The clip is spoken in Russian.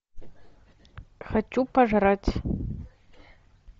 хочу пожрать